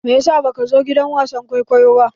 Me ya sa baka zo gidan wasan kwaikwayo ba?